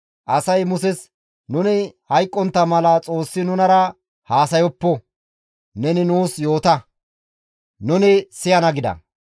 Asay Muses, «Nuni hayqqontta mala Xoossi nunara haasayoppo; neni nuus yoota; nuni siyana» gida.